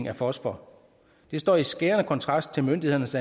af fosfor det står i skærende kontrast til myndighedernes